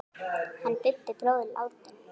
Hann Bubbi bróðir er látinn.